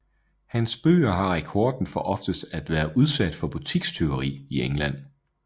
Hans bøger har rekorden for oftest at være udsat for butikstyveri i England